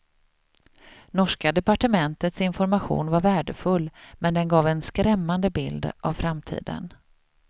Norska departementets information var värdefull men den gav en skrämmande bild av framtiden.